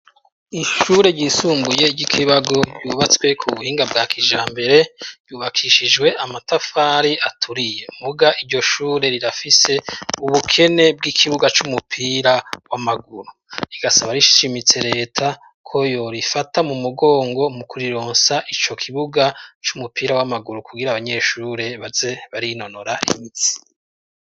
Ishure ryisumbuye ry'iKibago yubatswe ku buhinga bwa kijambere yubakishijwe amatafari aturiye muga iryo shure rirafise ubukene bw'ikibuga c'umupira w'amaguru, rigasaba rishimitse Leta ko yorifata mu mugongo mu kurironsa ico kibuga c'umupira w'amaguru kugir' abanyeshure baze barinonora imitsi.